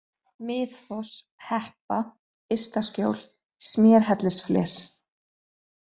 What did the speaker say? Miðfoss, Heppa, Ysta-Skjól, Smérhellisfles